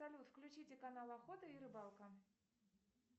салют включите канал охота и рыбалка